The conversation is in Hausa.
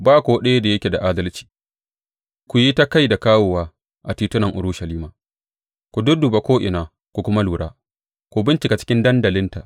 Ba ko ɗaya da yake da adalci Ku yi ta kai da kawowa a titunan Urushalima, ku dudduba ko’ina ku kuma lura, ku bincika cikin dandalinta.